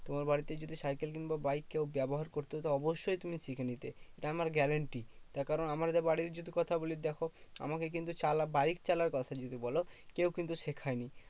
তোমার বাড়িতে যদি সাইকেল কিংবা বাইক কেউ ব্যবহার করতো তো অবশ্যই তুমি শিখে নিতে, এ আমার guarantee. তার কারণ আমার যে বাড়ির যদি কথা বলি, দেখো আমাকে কিন্তু চালা বাইক চালার কথা যদি বলো, কেউ কিন্তু শেখায় নি।